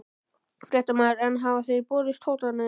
Fréttamaður: En hafa þér borist hótanir?